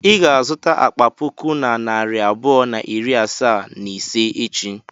I ga-azụta akpa puku na narị abụọ na iri asaa na ise echi.